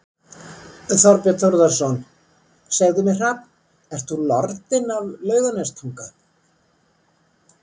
Þorbjörn Þórðarson: Segðu mér Hrafn, ert þú lordinn af Laugarnestanga?